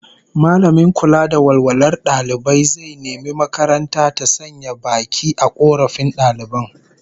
Mallamin kula da walwalar dalibai zai nemi makaranta ta sanya baki a korafin daliban